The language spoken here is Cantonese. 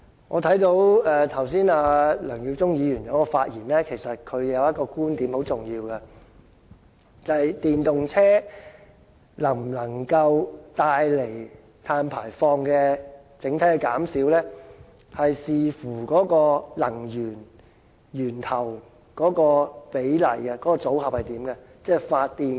我剛才聽到梁耀忠議員的發言，其實他提出了一個很重要的觀點，就是電動車能否令整體減少碳排放，是要視乎能源、源頭的比例，組合的形式。